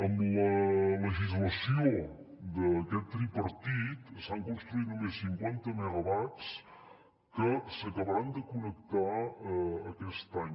amb la legislació d’aquest tripartit s’han construït només cinquanta megawatts que s’acabaran de connectar aquest any